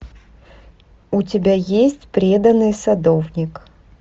у тебя есть преданный садовник